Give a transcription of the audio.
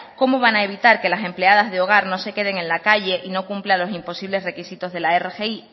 cómo van a evitar que las empleadas de hogar no se queden en la calle y no cumplan los imposibles requisitos de la rgi